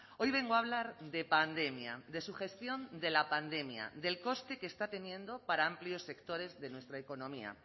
hoy vengo a hablar de pandemia de su gestión de la pandemia del coste que está teniendo para amplios sectores de nuestra economía